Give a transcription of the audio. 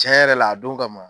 Tiɲɛ yɛrɛ la a don ka ma.